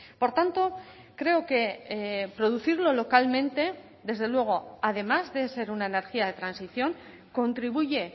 por tanto creo que producirlo localmente desde luego además de ser una energía de transición contribuye